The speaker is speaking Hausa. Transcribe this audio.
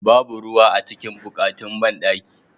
Babu ruwa a cikin bukatin banɗakin.